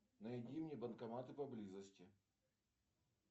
найди мне банкоматы поблизости